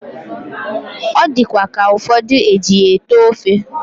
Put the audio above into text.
Odikwa ka ufodu ejiya ete ofe